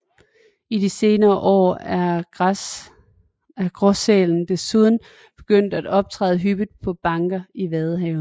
I de senere år er gråsælen desuden begyndt at optræde hyppigt på banker i Vadehavet